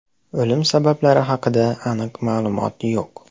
O‘lim sabablari haqida aniq ma’lumot yo‘q.